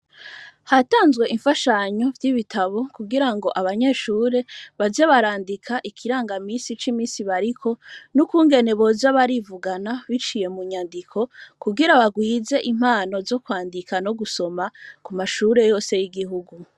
Hatanzwe imfashanyo vy'ibitabo kugira ngo abanyeshure baje barandika ikiranga misi c'imisi bariko n'ukungene boja barivugana biciye mu nyandiko kugira bagwize impano zo kwandika no gusoma ku mashure yose y'igihugu.